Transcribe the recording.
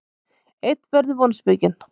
Einn verður vonsvikinn.